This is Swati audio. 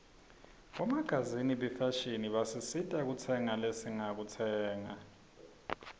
bomagazini bafashini basisita kukhetsa lesingakutsenga